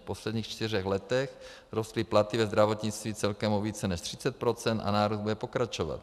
V posledních čtyřech letech rostly platy ve zdravotnictví celkem o více než 30 % a nárůst bude pokračovat.